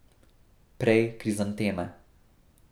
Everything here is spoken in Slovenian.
Prej krizanteme.